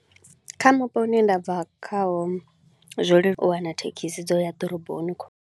Kha mupo u ne nda bva khawo, zwo leluwa u wana thekhisi dza u ya ḓoroboni kho.